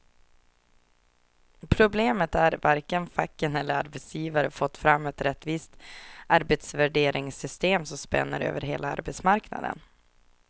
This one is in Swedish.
Problemet är att varken facken eller arbetsgivare fått fram ett rättvist arbetsvärderingssystem som spänner över hela arbetsmarknaden.